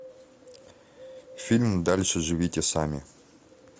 фильм дальше живите сами